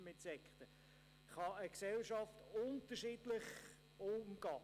Übrigens sind Religionsgemeinschaften nicht gleichbedeutend mit Sekten.